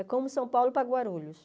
É como São Paulo para Guarulhos.